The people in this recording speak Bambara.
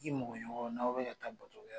I mɔgɔ ɲɔgɔn , n'aw bɛ ka taa bato kɛ yɔrɔ